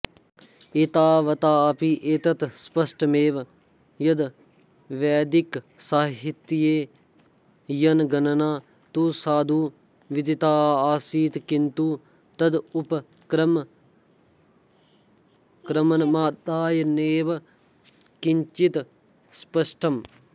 एतावताऽपि एतत् स्पष्टमेव यद्वैदिकसाहित्येऽयनगणना तु साधु विदिताऽऽसीत् किन्तु तदुपक्रमणमादाय नैव किञ्चित्स्पष्टम्